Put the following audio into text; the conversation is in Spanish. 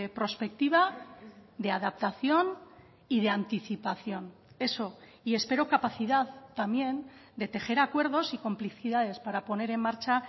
prospectiva de adaptación y de anticipación eso y espero capacidad también de tejer acuerdos y complicidades para poner en marcha